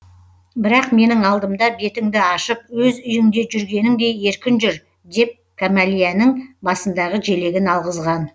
бірақ менің алдымда бетіңді ашып өз үйіңде жүргеніңдей еркін жүр деп кәмәлияның басындағы желегін алғызган